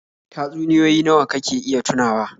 Tatsunioyi nawa kake iya tunawa?